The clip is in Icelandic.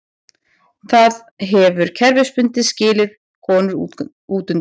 Það hefur kerfisbundið skilið konur útundan.